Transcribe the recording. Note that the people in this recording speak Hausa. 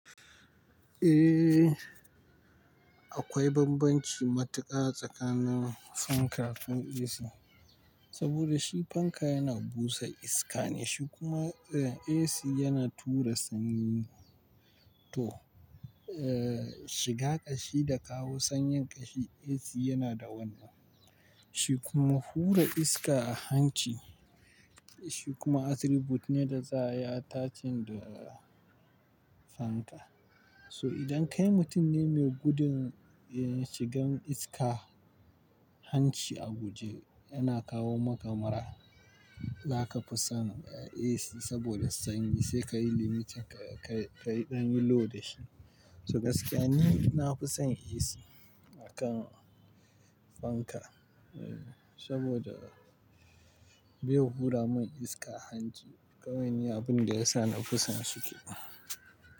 Eh, akwai bambanci matuƙa tsakanin fanka da AC. Saboda shi fanka yana busa iska ne, shi kuma eh AC yana tura sanyi. To, eh shiga ƙashi da kawo sanyin ƙashi AC yana da wannan. Shi kuma hura iska a hanci, shi kuma attribute ne da za a yi ta cin da fanka. So idan kai mutum ne mai gudun eh shigan iska hanci a guje, yana kawo makamura, za ka fi son eh AC saboda sanyi sai ka yi limitin ka yi ɗan load shi. To gaskiya ni na fi son AC akan fanka eh saboda bai hura min iska hanci kamani abin da ya sa na fi son su ke.